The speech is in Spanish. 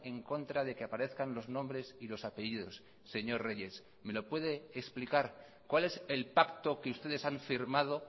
en contra de que aparezcan los nombres y los apellidos señor reyes me lo puede explicar cuál es el pacto que ustedes han firmado